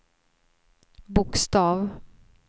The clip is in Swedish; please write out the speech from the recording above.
bokstav